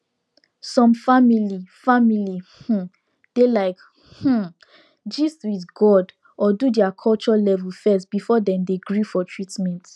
some family family um dey like um gist with god or do their culture level first before dem gree for treatment